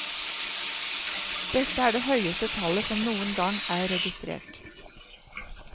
Dette er det høyeste tallet som noen gang er registrert.